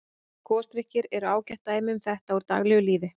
Gosdrykkir eru ágætt dæmi um þetta úr daglegu lífi.